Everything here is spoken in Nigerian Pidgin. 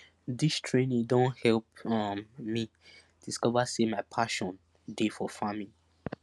dis training don help um me discover say my pashon dey for farming